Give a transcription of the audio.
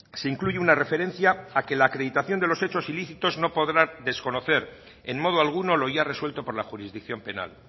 se incluye una referencia a que la acreditación de los hechos ilícitos no podrá desconocer en modo alguno lo ya resuelto por la jurisdicción penal